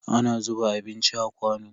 Ana zuba abinci a kwano.